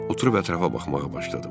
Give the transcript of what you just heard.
Oturub ətrafa baxmağa başladım.